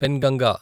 Penganga